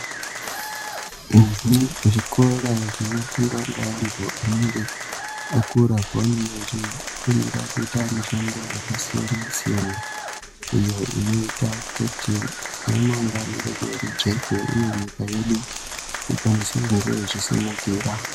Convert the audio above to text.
Zvikora zvinofundwa ngavantu anenge akura apo pavanenge vachifundira kuita mushando yakasiyana-siyana iyo inoita kuti ramangwani redu rijeke uye nyika yedu ikwanise kungewo ichisimukira.